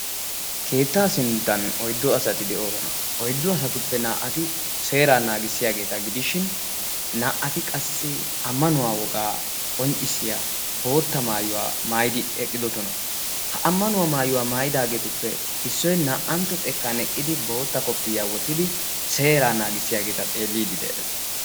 keettaa sinttan oiddo asati de'oosona oiddo asatuppe naa''ati seeraa naagissiyaageeta gidishin naa''ati qassi ammanuwaa wogaa qonccissiya bootta maayuwaa maayidi eqqidosona ha ammanuwaa maayuwaa maayidaageetuppe issoy naa''antto xekkan eqqidi bootta koppii yaawottidi seeraa naagissiyaageeta xeelliiddi de'ees